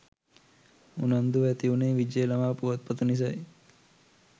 උනන්දුව ඇති උනේ විජය ළමා පුවත්පත නිසයි